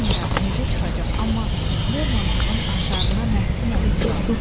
Bilmirəm necə çıxacaq, amma Lermontovun əşarına məftun olmuşam.